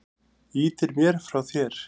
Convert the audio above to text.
Ýtir mér frá þér.